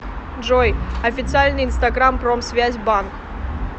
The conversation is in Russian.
джой официальный инстаграм промсвязь банк